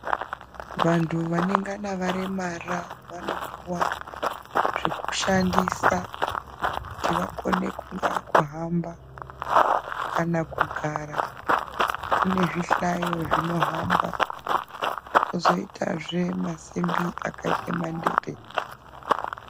Vanthu vanengana varemara vanopuwa zvekushandisa kuti vakone kungaa kuhamba kana kugara kume zvihlayo zvinohamba kozoitazve masimbi akaite mandete .